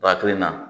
Ba to yen na